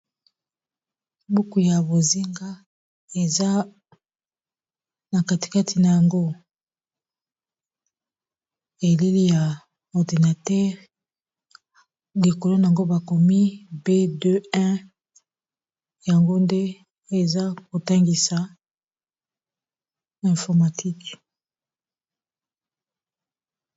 Buku ya bozinga eza na kati kati na yango elili ya ordinateur likolo nango bakomi b21 yango nde eza kotangisa informatique.